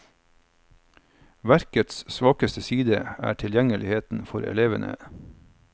Verkets svakeste side er tilgjengeligheten for elevene.